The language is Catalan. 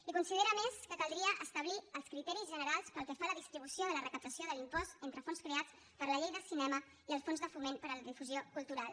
i considera a més que caldria establir els criteris generals pel que fa a la distribució de la recaptació de l’impost entre fons creats per la llei del cinema i el fons de foment per a la difusió cultural